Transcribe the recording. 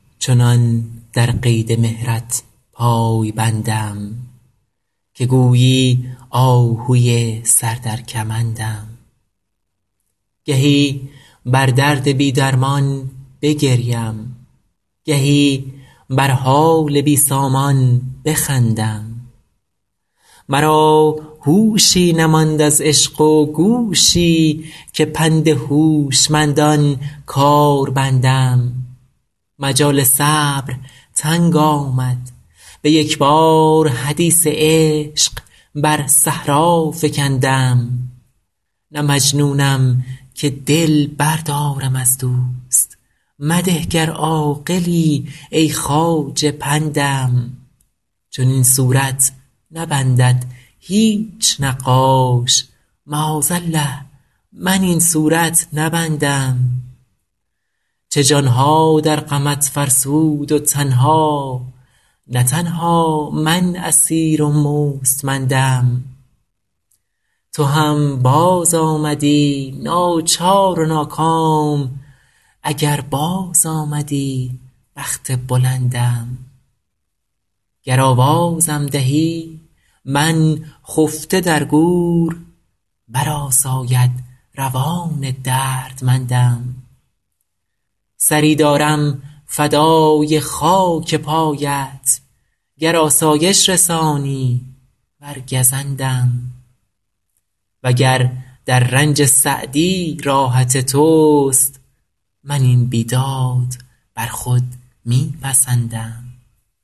چنان در قید مهرت پای بندم که گویی آهوی سر در کمندم گهی بر درد بی درمان بگریم گهی بر حال بی سامان بخندم مرا هوشی نماند از عشق و گوشی که پند هوشمندان کار بندم مجال صبر تنگ آمد به یک بار حدیث عشق بر صحرا فکندم نه مجنونم که دل بردارم از دوست مده گر عاقلی ای خواجه پندم چنین صورت نبندد هیچ نقاش معاذالله من این صورت نبندم چه جان ها در غمت فرسود و تن ها نه تنها من اسیر و مستمندم تو هم بازآمدی ناچار و ناکام اگر بازآمدی بخت بلندم گر آوازم دهی من خفته در گور برآساید روان دردمندم سری دارم فدای خاک پایت گر آسایش رسانی ور گزندم و گر در رنج سعدی راحت توست من این بیداد بر خود می پسندم